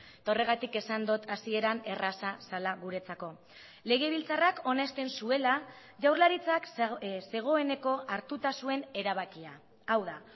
eta horregatik esan dut hasieran erraza zela guretzako legebiltzarrak onesten zuela jaurlaritzak zegoeneko hartuta zuen erabakia hau da